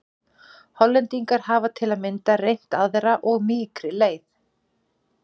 Hollendingar hafa til að mynda reynt aðra og mýkri leið.